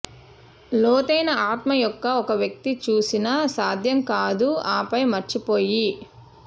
లోతైన ఆత్మ యొక్క ఒక వ్యక్తి చూసిన సాధ్యం కాదు ఆపై మర్చిపోయి